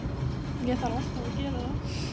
Ég þarf alltaf að gera það.